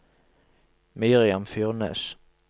Miriam Furnes